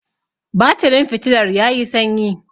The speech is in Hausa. batirin fitilar ya yi sanyi